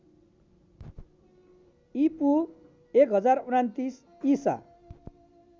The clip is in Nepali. ईपू १०२९ ईसा